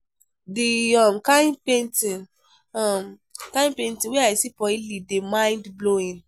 The um kin painting um kin painting wey I see for Italy dey mind blowing